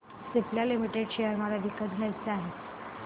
Cipla limited share मला विकत घ्यायचे आहेत